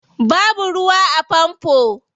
Babu ruwa a famfo.